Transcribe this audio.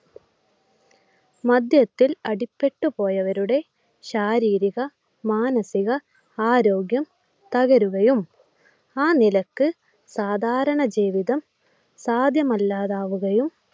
മദ്യത്തിൽ അടിപ്പെട്ടുപോയവരുടെ ശാരീരിക മാനസിക ആരോഗ്യം തകരുകയും ആ നിലക്ക് സാധാരണ ജീവിതം സാധ്യമല്ലാതാവുകയും